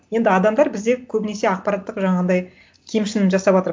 енді адамдар бізде көбінесе ақпараттық жаңағындай кемшін жасаватыр